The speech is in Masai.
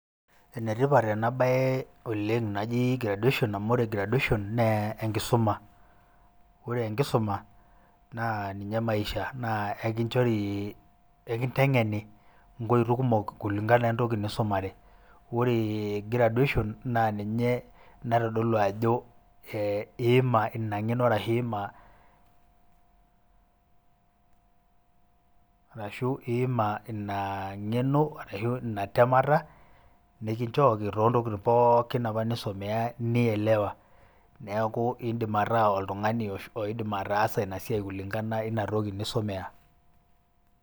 Enetipat ena baye oleng' naji graduation amu ore garduation naa enkisuma ore enkisuma naa ninye maisha naa kakinchore ekinteng'eni inkoitoi kumok kulingana o entoki nisumare, ore graduation naa ninye naitodolu ajo iima ina ng'eno ashu iima ina temata nikinchooki toontokitin pookin apa nisomeah nielewa, neeku indim ataa oltung'ani oidim ataasa ina siai kulingana o ina toki nisomea.